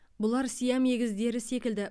бұлар сиам егіздері секілді